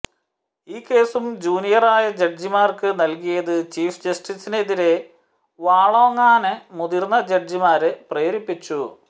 ഈ കേസും ജൂനിയറായ ജഡ്ജിമാര്ക്ക് നല്കിയത് ചീഫ് ജസ്റ്റിസിനെതിരേ വാളോങ്ങാന് മുതിര്ന്ന ജഡ്ജിമാരെ പ്രേരിപ്പിച്ചു